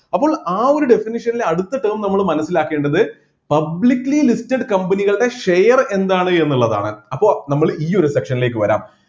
അപ്പോൾ ആ ഒരു definition ലെ അടുത്ത term നമ്മൾ മനസ്സിലാക്കേണ്ടത് publicly listed company കളുടെ share എന്താണ് എന്നുള്ളതാണ് അപ്പൊ നമ്മൾ ഈ ഒരു section ലേക്ക് വരാം